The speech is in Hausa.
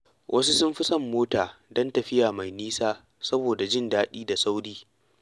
Wasu sun fi son mota don tafiya mai nisa saboda jin daɗi da sauri.